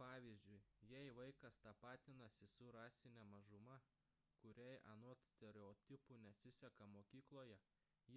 pavyzdžiui jei vaikas tapatinasi su rasine mažuma kuriai anot stereotipų nesiseka mokykloje